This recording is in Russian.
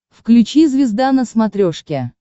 включи звезда на смотрешке